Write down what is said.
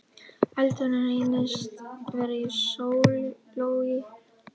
Eldurinn reyndist vera í sílói